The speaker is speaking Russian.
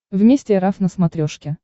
вместе эр эф на смотрешке